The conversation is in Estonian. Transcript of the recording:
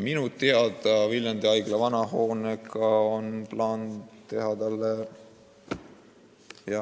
Minu teada Viljandi haigla vana hoonega on plaan selline, et